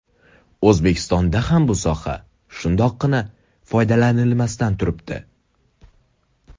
O‘zbekistonda ham bu soha shundoqqina foydalanilmasdan turibdi.